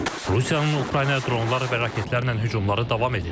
Rusiya Ukraynaya dronlar və raketlərlə hücumlar davam edir.